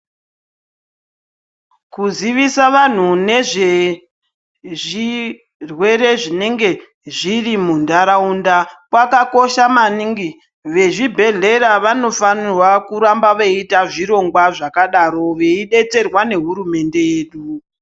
Kuziisa vantu nezve zvirwere zvinenge zvirimunharaunda kwakakosha maningi vezvibhehleya vanofanira kuramba veita zvirongwa zvakadaro veidettserwa ngehurumende yedu.